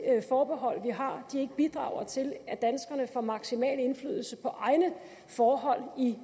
forbehold vi har ikke bidrager til at danskerne får maksimal indflydelse på egne forhold i